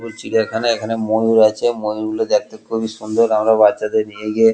বলছি এখানে এখানে ময়ূর আছে ময়ূর গুলো দেখতে খুবই সুন্দর আমরা বাচ্চাদের নিয়ে গিয়ে।